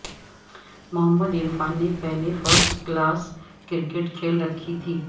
محمد عرفان نے پہلے first class cricket کھیل رکھی تھی